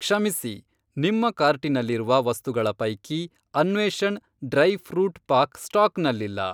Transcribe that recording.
ಕ್ಷಮಿಸಿ, ನಿಮ್ಮ ಕಾರ್ಟಿನಲ್ಲಿರುವ ವಸ್ತುಗಳ ಪೈಕಿ ಅನ್ವೇಷಣ್ ಡ್ರೈ ಫ಼್ರೂಟ್ ಪಾಕ್ ಸ್ಟಾಕ್ನಲ್ಲಿಲ್ಲ.